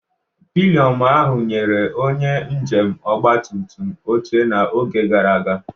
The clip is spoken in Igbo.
Pilion ahụ nyere onye njem ọgba tum tum oche n'oge gara aga.